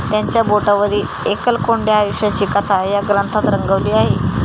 त्यांच्या बेटावरील एकलकोंड्या आयुष्याची कथा ह्या ग्रंथात रंगवली आहे.